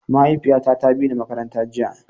Mahaifiyata ta bini makaranta jiya.